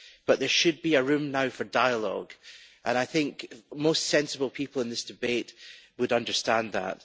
But there should be room now for dialogue and I think most sensible people in this debate would understand that.